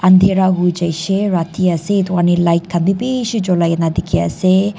undhira hoijaishey rati ase edu karni light khan bi bishi cholai na dikhiase.